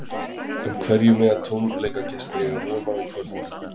En hverju mega tónleikagestir eiga von á í kvöld?